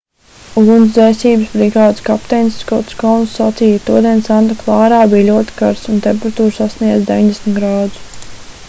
ugunsdzēsības brigādes kapteinis skots kouns sacīja todien santa klārā bija ļoti karsts un temperatūra sasniedza 90 grādus